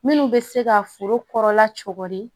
Minnu bɛ se ka foro kɔrɔla cogo di